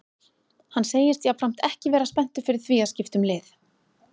Hann segist jafnframt ekki vera spenntur fyrir því að skipta um lið.